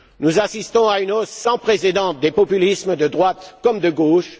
Nous assistons à une hausse sans précédent des populismes de droite comme de gauche.